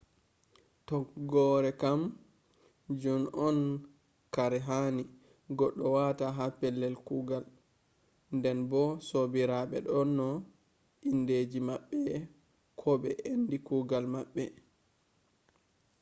tokgore kam jun on kare hani goɗɗo wata ha pellel kugal nden bo sobiraɓe do dona indeji maɓɓe ko ɓe ende kugal maɓɓe